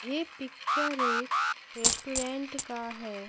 ये पिक्चर एक रेस्टोरेंट का है।